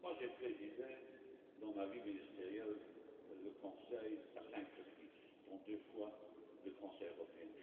J'ai présidé dans ma vie ministérielle le Conseil à cinq reprises, dont deux fois le Conseil européen.